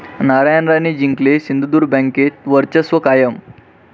नारायण राणे जिंकले, सिंधुदुर्ग बँकेत वर्चस्व कायम